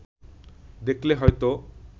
দেখলে হয়তো